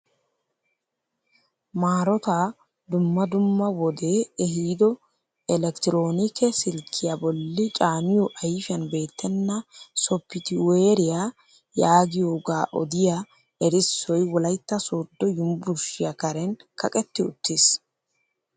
Maarotaa dumma dumma wodee ehido elekiteroonikke silkkiyaa bolli caaniyoo ayfiyaan beettena sopitiweeriyaa yaagiyooga odiyaa erissoy wolaytta sooddo yunburushiyaa karen kaqetti uttiis.